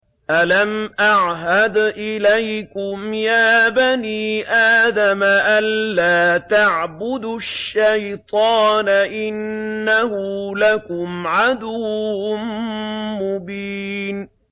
۞ أَلَمْ أَعْهَدْ إِلَيْكُمْ يَا بَنِي آدَمَ أَن لَّا تَعْبُدُوا الشَّيْطَانَ ۖ إِنَّهُ لَكُمْ عَدُوٌّ مُّبِينٌ